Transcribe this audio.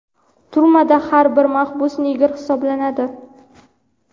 Turmada har bir mahbus negr hisoblanadi.